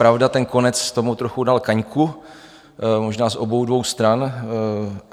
Pravda, ten konec tomu trochu dal kaňku, možná z obou dvou stran.